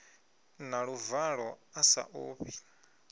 na luvalo a sa ofhi